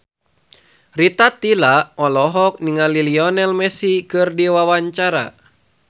Rita Tila olohok ningali Lionel Messi keur diwawancara